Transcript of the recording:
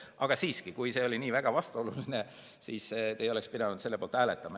Aga siiski, kui see oli nii vastuoluline, siis te ei oleks pidanud selle poolt hääletama.